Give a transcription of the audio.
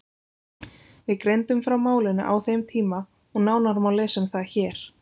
Við greindum frá málinu á þeim tíma og nánar má lesa um það hér.